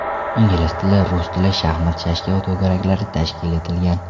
Ingliz tili, rus tili, shaxmat-shashka to‘garaklari tashkil etilgan.